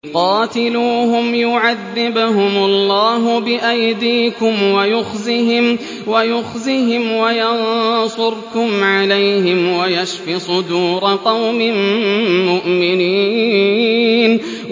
قَاتِلُوهُمْ يُعَذِّبْهُمُ اللَّهُ بِأَيْدِيكُمْ وَيُخْزِهِمْ وَيَنصُرْكُمْ عَلَيْهِمْ وَيَشْفِ صُدُورَ قَوْمٍ مُّؤْمِنِينَ